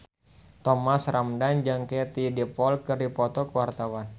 Thomas Ramdhan jeung Katie Dippold keur dipoto ku wartawan